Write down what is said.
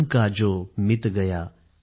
मन का जो मीत गया